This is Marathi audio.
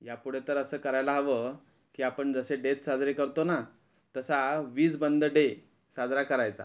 या पुढं तर अस करायला हवं कि आपण जसे डेज साजरे करतो ना तसा वीज बंद डे साजरा करायचा .